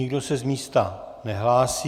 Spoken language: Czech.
Nikdo se z místa nehlásí.